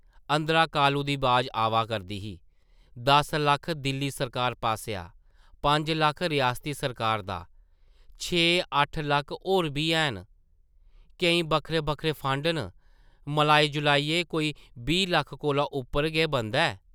अंदरा कालू दी बाज आवा करदी ही, दस लक्ख दिल्ली सरकार पासेआ, पंज लक्ख रियासती सरकार दा छे, अट्ठ लक्ख होर बी हैन, केईं बक्खरे-बक्खरे फंड न, मलाई-जुलाइयै कोई बीह् लक्ख कोला उप्पर गै बनदा ऐ ।